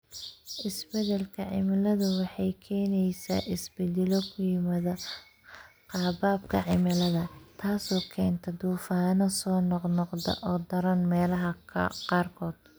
Isbeddelka cimiladu waxay keenaysaa isbeddelo ku yimaadda qaababka cimilada, taasoo keenta duufaanno soo noqnoqda oo daran meelaha qaarkood.